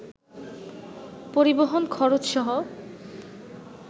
পরিবহণ খরচসহ